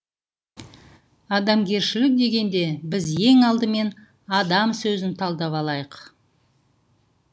адамгершілік дегенде біз ең алдымен адам сөзін талдап алайық